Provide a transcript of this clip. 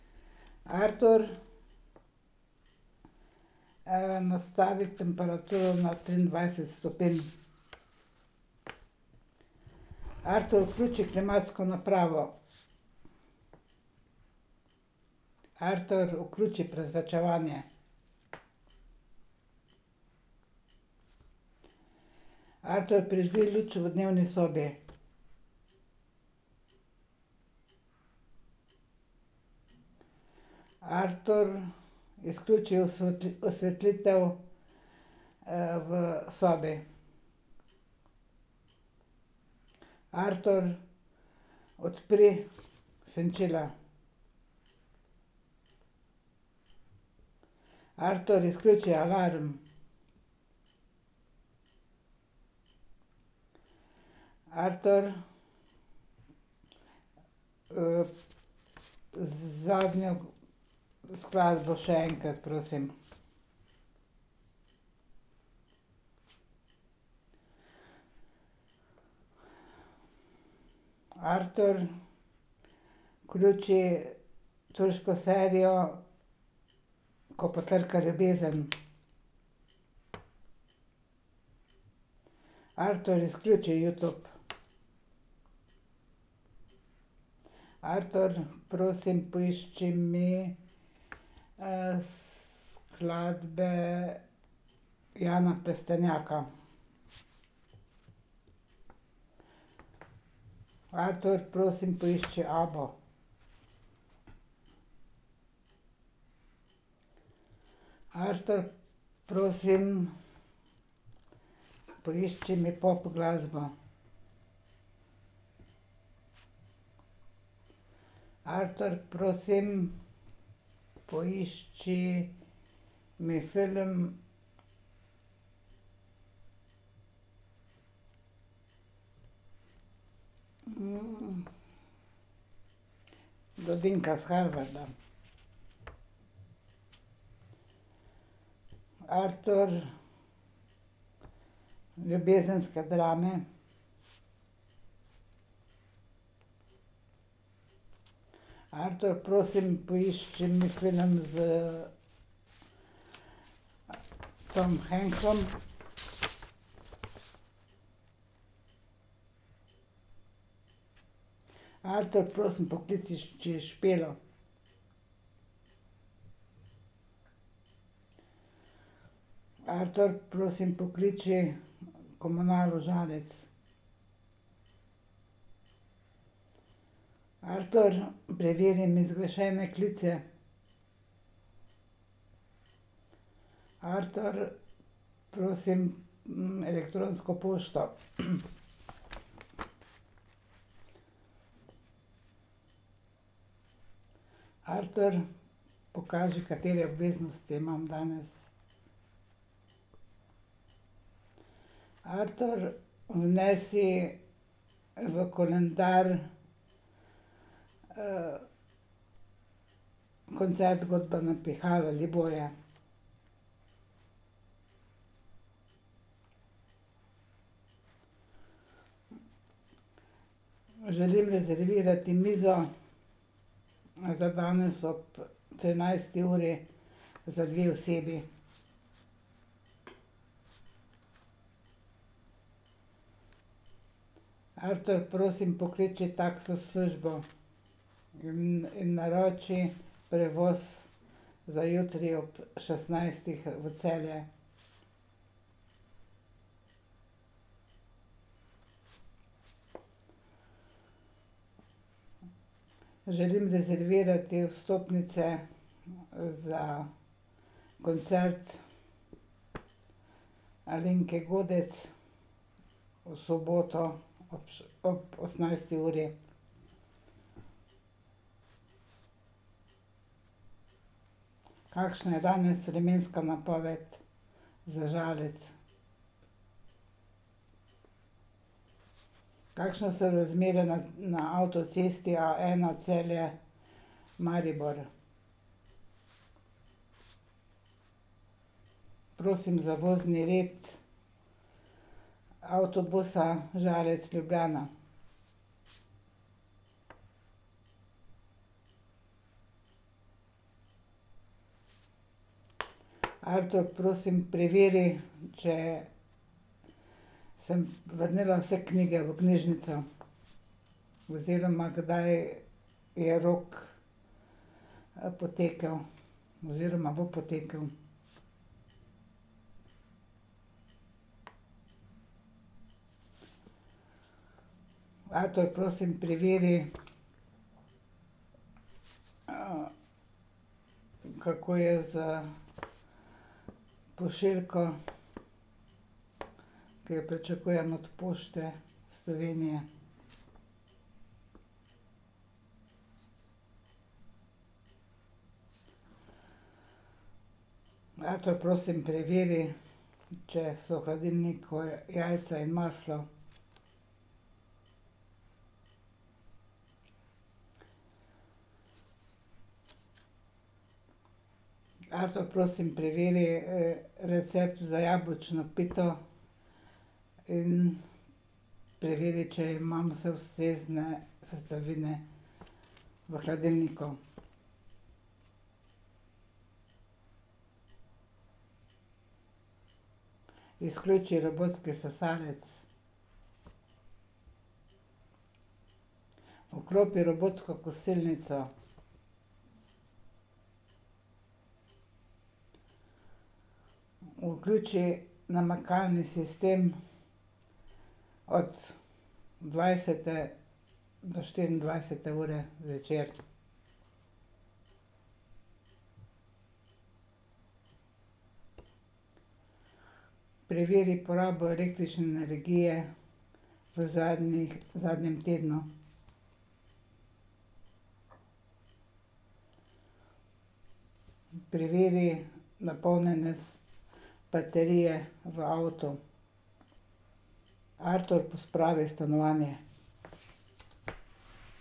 Artur, nastavi temperaturo na triindvajset stopinj. Artur, vključi klimatsko napravo. Artur, vključi prezračevanje. Artur, prižgi luč v dnevni sobi. Artur, izključi osvetlitev, v sobi. Artur, odpri senčila. Artur, izključi alarm. Artur, zadnjo skladbo še enkrat, prosim. Artur, vključi turško serijo Ko potrka ljubezen. Artur, izključi Youtube. Artur, prosim poišči mi, skladbe Jana Plestenjaka. Artur, prosim poišči Abbo. Artur, prosim poišči mi popglasbo. Artur, prosim, poišči mi film, Blondinka s Harvarda. Artur, ljubezenske drame. Artur, prosim, poišči mi film s Tomom Hanksom. Artur, prosim pokliči Špelo. Artur, prosim, pokliči Komunalo Žalec. Artur, preveri mi zgrešene klice. Artur, prosim, elektronsko pošto. Artur, pokaži, katere obveznosti imam danes. Artur, vnesi v koledar, koncert godbe na pihala . Želim rezervirati mizo, za danes ob trinajsti uri za dve osebi. Artur, prosim, pokliči taksi službo. naroči prevoz za jutri ob šestnajstih v Celje. Želim rezervirati vstopnice, za koncert Alenke Godec v soboto ob ob osemnajsti uri. Kakšna je danes vremenska napoved za Žalec? Kakšne so razmere na, na avtocesti Aena Celje- Maribor? Prosim za vozni red avtobusa Žalec-Ljubljana. Artur, prosim, preveri, če sem vrnila vse knjige v knjižnico. Oziroma kdaj je rok, potekel, oziroma bo potekel. Artur, prosim, preveri, kako je s pošiljko, ki jo pričakujem od Pošte Slovenije. Artur, prosim, preveri, če so v hladilniku jajca in maslo. Artur, prosim, preveri, recept za jabolčno pito in preveri, če imam vse ustrezne sestavine v hladilniku. Izključi robotski sesalec. Vklopi robotsko kosilnico. Vključi namakalni sistem od dvajsete do štiriindvajsete ure zvečer. Preveri porabo električne energije v zadnjih, v zadnjem tednu. Preveri baterije v avtu. Artur, pospravi stanovanje.